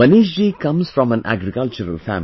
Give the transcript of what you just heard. Manish ji comes from an agricultural family